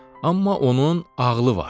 Amma onun ağlı var.